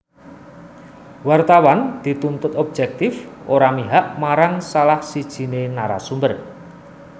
Wartawan dituntut objektif ora mihak marang salah sijiné narasumber